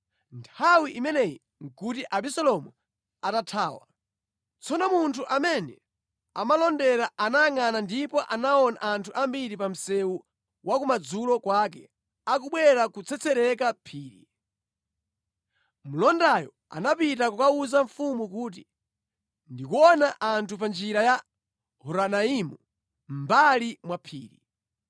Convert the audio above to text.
Nthawi imeneyi nʼkuti Abisalomu atathawa. Tsono munthu amene amalondera anayangʼana ndipo anaona anthu ambiri pa msewu wa kumadzulo kwake, akubwera kutsetsereka phiri. Mlondayo anapita kukawuza mfumu kuti, “Ndikuona anthu pa njira ya Horonaimu, mʼmbali mwa phiri.”